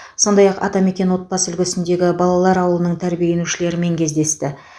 сондай ақ атамекен отбасы үлгісіндегі балалар ауылының тәрбиеленушілерімен кездесті